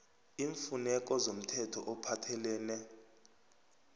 iimfuneko zomthetho ophathelene